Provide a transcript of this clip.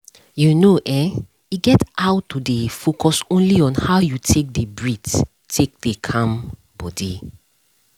you know[um]e get how to dey focus only on how you take dey breath take dey calm body